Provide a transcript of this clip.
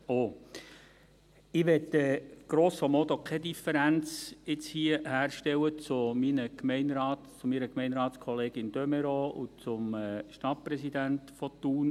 Ich möchte hier grosso modo keine Differenz herstellen zu meiner Gemeinderatskollegin de Meuron und zum Stadtpräsidenten von Thun.